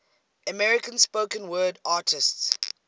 american spoken word artists